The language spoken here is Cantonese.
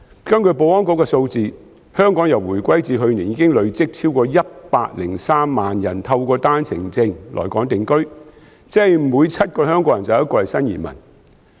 根據保安局的數字，香港由回歸至去年已累積超過103萬人透過單程證來港定居，即每7個香港人便有1個是新移民。